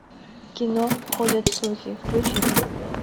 кино ходят слухи включи ка